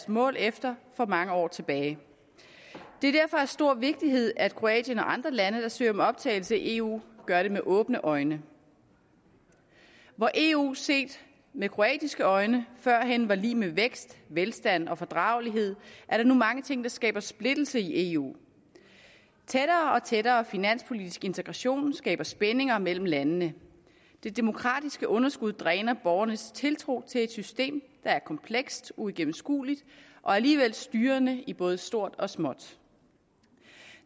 mål efter for mange år tilbage det er derfor af stor vigtighed at kroatien og andre lande der søger om optagelse i eu gør det med åbne øjne hvor eu set med kroatiske øjne førhen var lig med vækst velstand og fordragelighed er der nu mange ting der skaber splittelse i eu tættere og tættere finanspolitisk integration skaber spændinger mellem landene det demokratiske underskud dræner borgernes tiltro til et system der er komplekst uigennemskueligt og alligevel styrende i både stort og småt